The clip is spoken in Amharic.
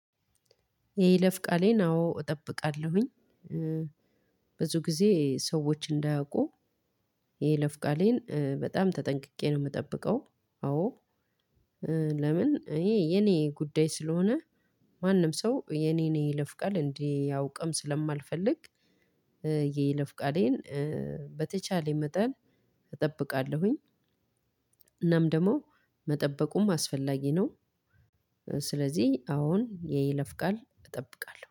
የይለፍ ቃሌን አዎ እጠብቃለሁኝ። ብዙ ጊዜ ሰዎች እንዳያውቁ። የይለፍ ቃሌን በጣም ተጠንቅቄ ነው የምጠብቀው። አዎ ለምን እኔ የኔ ጉዳይ ስለሆነ። ማንም ሰው የኔን የይለፍ ቃል እንዲያውቃም ስለማልፈልግ። የይለፍ ቃሌን በተቻለኝ መጠን እጠብቃለሁኝ። እናም ደግሞ መጠበቁም አስፈላጊ ነው። ስለዚህ አዎን የይለፍ ቃል እጠብቃለሁ